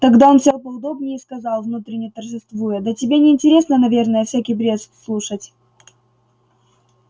тогда он сел поудобнее и сказал внутренне торжествуя да тебе не интересно наверное всякий бред слушать